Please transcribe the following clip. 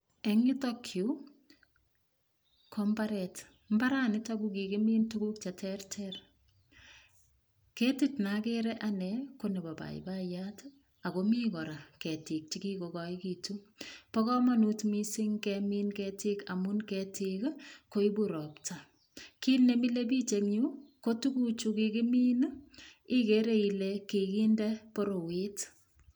Eng yutok yu ko mbaret. Mbaranitok ko kikimin tuguk cheterter. Ketit nogere anne konebo paipaiyat ago mi kora ketiik che kikokiegitu. Bo kamanut mising kemin ketiik amun ketiik koibu ropta. Kit ne mile biich en yu kotuguchu kikimin igere ile kikinde borowet.